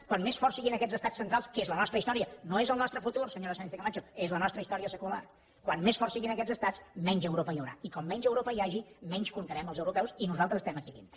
com més forts siguin aquests estats centrals que és la nostra història no és el nostre futur senyora sánchezcamacho és la nostra història secular com més forts siguin aquests estats menys europa hi haurà i quan menys europa hi hagi menys comptarem els europeus i nosaltres estem aquí dintre